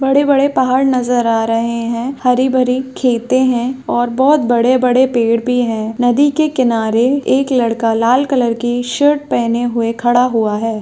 बड़े-बड़े पहाड़ नजर आ रहे है हरी-भरी खेते है और बहुत बड़े-बड़े पेड़ भी है नदी के किनारे एक लड़का लाल कलर की शर्ट पेहेने हुए खड़ा हुआ है।